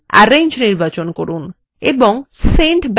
arrange নির্বাচন করুন এবং send backward click করুন